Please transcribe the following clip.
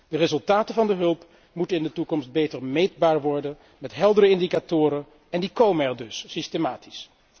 De resultaten van de hulp moeten in de toekomst beter meetbaar worden, met heldere indicatoren en die komen er dus systematisch.